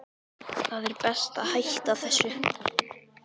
Það er best að hætta þessu.